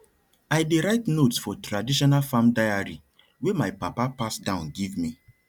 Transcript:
i dey write notes for traditional farm diary wey my papa pass down give me